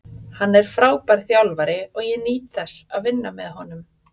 Hann er frábær þjálfari og ég nýt þess að vinna með honum.